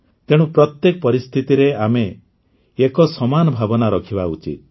ତେଣୁ ପ୍ରତ୍ୟେକ ପରିସ୍ଥିତିରେ ଆମେ ଏକ ସମାନ ଭାବନା ରଖିବା ଉଚିତ